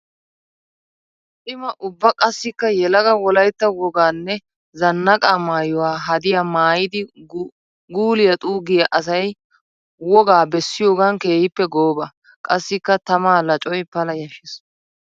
Cima ubba qassikka yelaga wolaytta woganne zanaaqa maayuwa haddiya maayiiddi guuliya xuugiya asay wogaa bessiyoogan keehippe gooba. Qassikka tamaa laccoy pala yashshees.